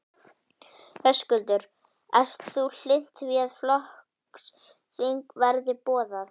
Höskuldur: Ert þú hlynnt því að flokksþing verði boðað?